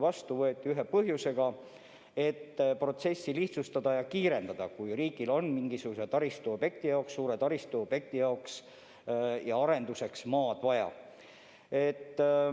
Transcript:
Eks see tegelikult võetigi vastu eesmärgiga protsessi lihtsustada ja kiirendada, kui riigil on mingisuguse suure taristuobjekti arenduseks maad vaja.